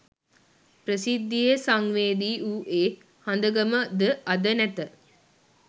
ප්‍රසිද්ධියේ සංවේදී වූ ඒ හඳගම ද අද නැත.